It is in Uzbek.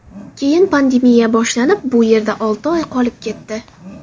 Keyin pandemiya boshlanib, bu yerda olti oy qolib ketdi.